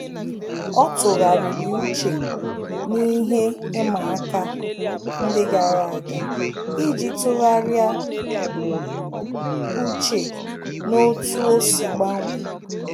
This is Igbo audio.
Ọ́ tụ́ghàrị̀rị̀ uche n’íhé ịma aka ndị gàrà ága iji tụ́gharị́a úchè n’otú ọ́ sì gbanwee.